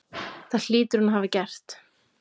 Það hlýtur hún að hafa gert.